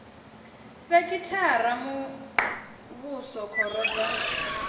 sekhithara ya muvhuso khoro dza